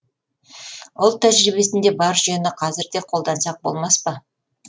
ұлт тәжірибесінде бар жүйені қазір де қолдансақ болмас па